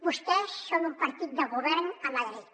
vostès són un partit de govern a madrid